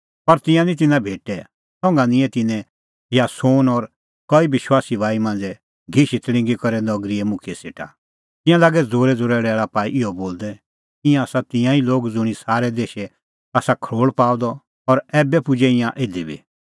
पर तिंयां निं तिन्नां तिधी भेटै संघा निंयैं तिन्नैं यासोन और कई विश्वासी भाई मांझ़ै घिशी तल़िंगी करै नगरीए मुखियै सेटा तिंयां लागै ज़ोरैज़ोरै लैल़ा पाई इहअ बोलदै ईंयां आसा तिंयां ई लोग ज़ुंणी सारै देशै आसा खरोल़ पाअ द और ऐबै पुजै ईंयां इधी बी